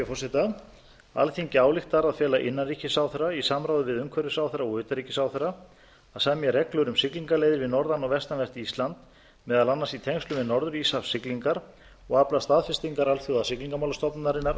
forseta alþingi ályktar að fela innanríkisráðherra í samráði við umhverfisráðherra og utanríkisráðherra að semja reglur um siglingaleiðir við norðan og vestanvert ísland meðal annars í tengslum við norður íshafssiglingar og afla staðfestingar alþjóðasiglingamálastofnunarinnar